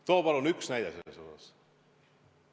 Too palun ükski näide selle kohta!